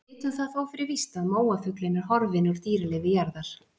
Við vitum það þó fyrir víst að móafuglinn er horfinn úr dýralífi jarðar.